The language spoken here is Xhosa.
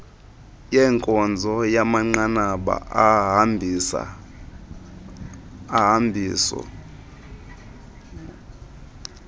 yenkonzo yamanqanaba ohambiso